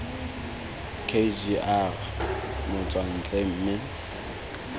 k g r motswantle mme